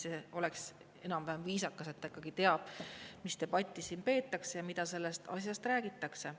See oleks enam-vähem viisakas, et ta ikkagi teab, mis debatti siin peetakse ja mida sellest asjast räägitakse.